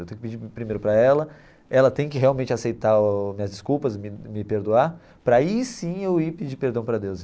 Eu tenho que pedir primeiro para ela, ela tem que realmente aceitar o minhas desculpas e me me perdoar, para aí sim eu ir pedir perdão para Deus.